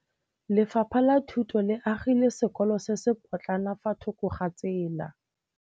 Lefapha la Thuto le agile sekôlô se se pôtlana fa thoko ga tsela.